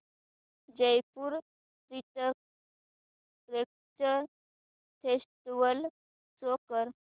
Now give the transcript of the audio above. Jaipur literature festival show कर